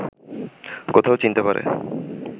কোথাও চিনতে পারে